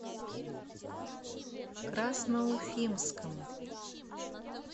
красноуфимском